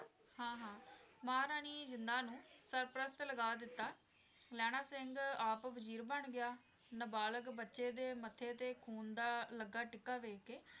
ਹਾਂ ਹਾਂ ਮਹਾਰਾਣੀ ਜਿੰਦਾ ਸਰਪ੍ਰਸਤ ਲਗਾ ਦਿੱਤਾ, ਲਹਿਣਾ ਸਿੰਘ ਆਪ ਵਜ਼ੀਰ ਬਣ ਗਿਆ, ਨਾਬਾਲਗ਼ ਬੱਚੇ ਦੇ ਮੱਥੇ ਤੇ ਖ਼ੂਨ ਦਾ ਲੱਗਾ ਟਿੱਕਾ ਵੇਖ ਕੇ